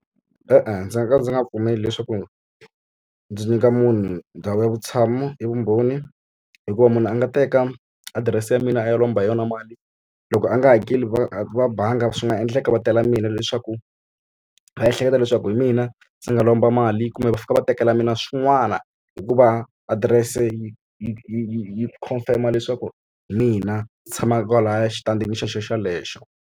E-e ndzi nga ka ndzi nga pfumeli leswaku ndzi nyika munhu ndhawu ya vutshamo hi vumbhoni, hikuva munhu a nga teka adirese ya mina a ya lomba hi yona mali. Loko a nga hakeli va va banga swi nga endleka va tela mina leswaku va ehleketa leswaku hi mina ndzi nga lomba mali, kumbe va fika va tekela mina swin'wana hikuva adirese yi yi yi confirm-a leswaku hi mina ni tshamaka kwalahaya exitandini xona xelexo.